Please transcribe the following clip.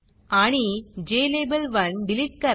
आणि ज्लाबेल1 डिलिट करा